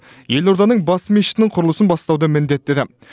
елорданың бас мешітінің құрылысын бастауды міндеттеді